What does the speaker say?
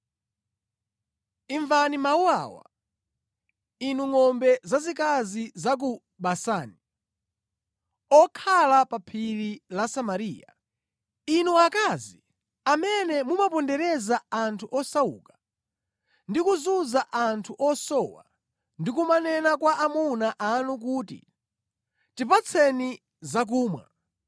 Imvani mawu awa, inu ngʼombe zazikazi za ku Basani, okhala pa Phiri la Samariya, inu akazi amene mumapondereza anthu osauka ndi kuzunza anthu osowa ndi kumanena kwa amuna anu kuti, “Tipatseni zakumwa!”